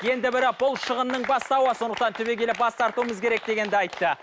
енді бірі ол шығынның бастауы сондықтан түбегейлі бас тартуымыз керек дегенді айтты